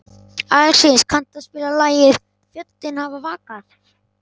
Alexíus, kanntu að spila lagið „Fjöllin hafa vakað“?